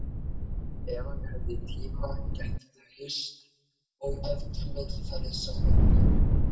Ef hann hefði tíma gætu þau hist og ef til vill farið saman í bíó.